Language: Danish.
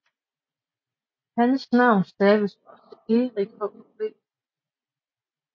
Hans navn staves også Eric hhv